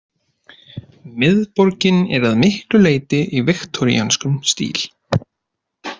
Miðborgin er að miklu leyti í viktoríönskum stíl.